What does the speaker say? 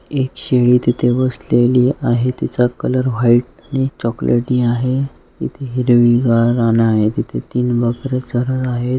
एक शेळी तिथे बसलेली आहे तिचा कलर व्हाइट आणि चॉकलेटी आहे इथे हिरवीगार रानं आहे इथे तीन बकरे चरत आहेत.